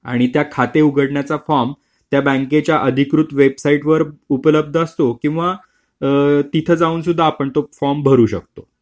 आणि ते खाते उघडण्याचा फॉर्म त्या बँकेच्या अधिकृत वेबसाईटवर उपलब्ध असतो किंवा तिथे जाऊन सुद्धा आपण तो फॉर्म भरू शकतो.